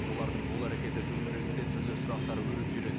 олардың бұл әрекеті төңірегінде түрлі сұрақтар өріп жүреді